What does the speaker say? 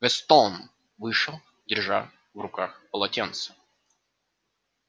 вестон вышел держа в руках полотенце